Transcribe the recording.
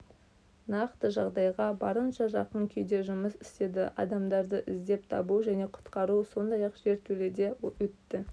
нақты жағдайға барынша жақын күйде жұмыс істеді адамдарды іздеп табу және құтқару сондай-ақ жертөледе отты